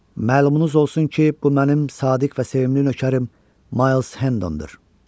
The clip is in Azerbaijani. Məlumunuz olsun ki, bu mənim sadiq və sevimli nökərim Miles Hendondur.